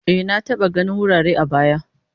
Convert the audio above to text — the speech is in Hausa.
E, na taba ganin wurare a baya.